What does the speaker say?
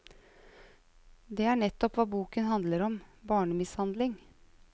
Det er nettopp hva boken handler om, barnemishandling.